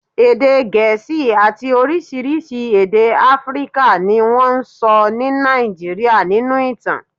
Èdè Gẹ̀ẹ́sì àti oríṣiríṣi èdè Áfíríkà ni wọ́n ń sọ ní Nàìjíríà nínú ìtàn